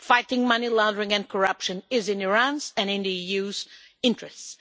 Fighting money laundering and corruption is in Iran's and the EU's interests.